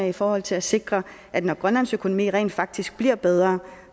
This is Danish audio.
og i forhold til at sikre at når grønlands økonomi rent faktisk bliver bedre